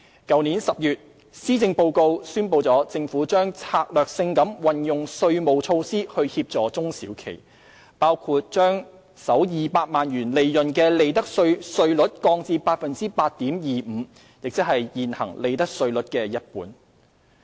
去年10月，施政報告宣布政府將策略性地運用稅務措施協助中小企業，包括將首200萬元利潤的利得稅稅率降至 8.25%， 即現行利得稅率的一半。